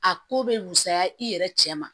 A ko bɛ wusaya i yɛrɛ cɛ ma